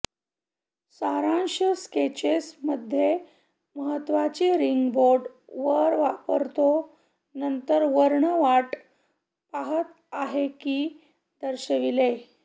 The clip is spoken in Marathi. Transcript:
सारांश स्केचेस मध्ये महत्त्वाची रिंग बोट वर वापरतो नंतर वर्ण वाट पाहत आहे की दर्शविले